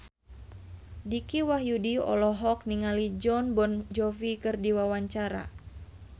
Dicky Wahyudi olohok ningali Jon Bon Jovi keur diwawancara